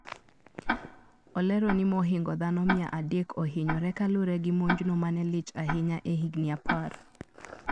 Olero ni mohingo dhano mia adek ohinyore kalure gi monjno manelich ahinya ehigni apar.